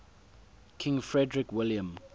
king frederick william